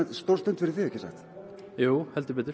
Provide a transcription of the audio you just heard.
stór stund fyrir þig jú heldur betur